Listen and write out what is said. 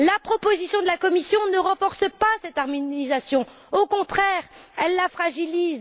La proposition de la Commission ne renforce pas cette harmonisation au contraire, elle la fragilise.